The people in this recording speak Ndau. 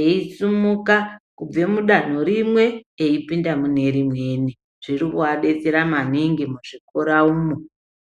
eisumuka kubva mudanho rimwe eipinda mune rimweni. Zvirikuvabetsera maningi muzvikora umu.